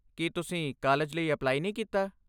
ਕੀ ਤੁਸੀਂ ਕਾਲਜ ਲਈ ਅਪਲਾਈ ਨਹੀਂ ਕੀਤਾ?